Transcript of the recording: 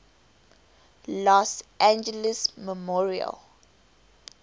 los angeles memorial